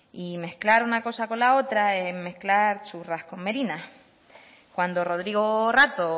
y mezclar una cosa con la otra es mezclar churras con merinas cuando rodrigo rato o